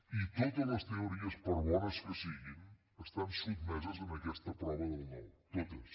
i totes les teories per bones que siguin estan sotmeses a aquesta prova del nou totes